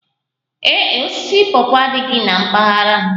Ee e, osisi pawpaw adịghị na mpaghara m